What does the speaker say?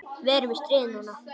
Við erum í stríði núna.